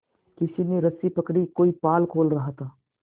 किसी ने रस्सी पकड़ी कोई पाल खोल रहा था